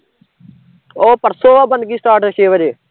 ਉਹ ਪਰਸੋਂ ਐ ਬਣਗੀ start ਛੇ ਵਜੇ